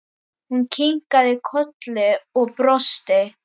Hún kinkaði kolli og brosti.